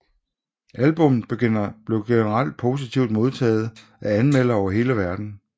Albummet blev generelt positivt modtaget af anmeldere over hele verdenen